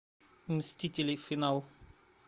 мстители финал